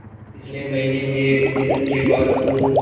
पिछले महीने हुए निधन के बाद पूर्व